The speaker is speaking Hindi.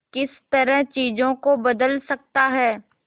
किस तरह चीजों को बदल सकता है